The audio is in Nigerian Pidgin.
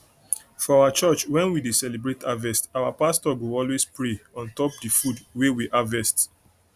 for our church when we dey celebrate harvest our pastor go always pray on top the food wey we harvest